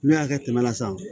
N'u y'a kɛ kɛmɛ la san